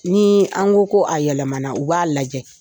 Ni an ko ko a yɛlɛmana u b'a lajɛ.